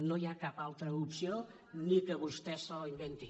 no hi ha cap altra opció ni que vostè se la inventi